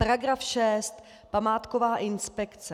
Paragraf 6 - památková inspekce.